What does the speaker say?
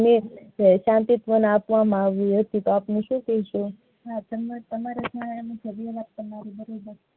ભરતી યો ને આપવા માં આવ્યુ હતું તો આપડે શું કહીશું હા તમને તમારી જરૂરત બનાવી.